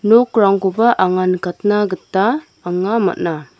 nokrangkoba anga nikatna gita anga man·a.